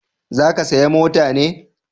Za ki saya mota ne?